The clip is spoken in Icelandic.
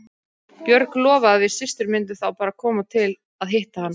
Björg lofaði að við systur myndum þá bara koma til að hitta hann.